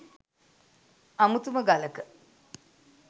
අමුතුම ගලක.